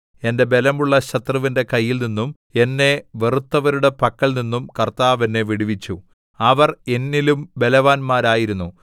എന്റെ ബലമുള്ള ശത്രുവിന്റെ കൈയിൽനിന്നും എന്നെ വെറുത്തവരുടെ പക്കൽനിന്നും കർത്താവ് എന്നെ വിടുവിച്ചു അവർ എന്നിലും ബലവാന്മാരായിരുന്നു